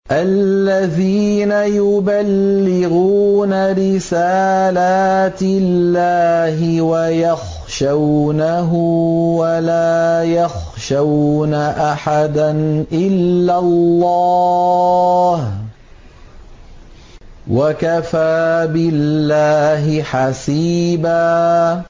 الَّذِينَ يُبَلِّغُونَ رِسَالَاتِ اللَّهِ وَيَخْشَوْنَهُ وَلَا يَخْشَوْنَ أَحَدًا إِلَّا اللَّهَ ۗ وَكَفَىٰ بِاللَّهِ حَسِيبًا